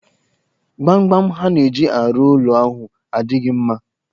Gbamgbam ha na-eji arụ ụlọ ahụ adịghi mma